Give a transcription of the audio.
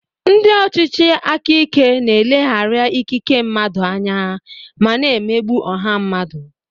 Ndị ọchịchị aka ike na-eleghara ikike mmadụ anya ma na-emegbu ọha mmadụ.